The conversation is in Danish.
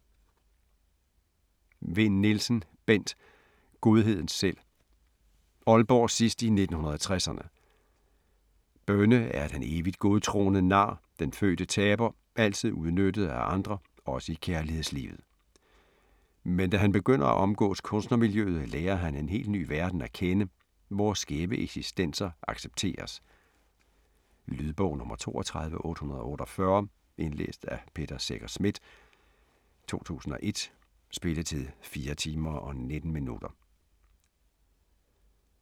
Vinn Nielsen, Bent: Godheden selv Aalborg sidst i 1960'erne. Bønne er den evigt godtroende nar, den fødte taber, altid udnyttet af andre også i kærlighedslivet. Men da han begynder at omgås kunstnermiljøet, lærer han en helt ny verden at kende, hvor skæve eksistenser accepteres. Lydbog 32848 Indlæst af Peter Secher Schmidt, 2001. Spilletid: 4 timer, 19 minutter.